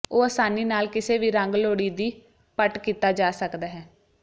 ਉਹ ਆਸਾਨੀ ਨਾਲ ਕਿਸੇ ਵੀ ਰੰਗ ਲੋੜੀਦੀ ਪਟ ਕੀਤਾ ਜਾ ਸਕਦਾ ਹੈ